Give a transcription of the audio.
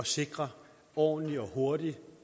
sikre ordentlig og hurtig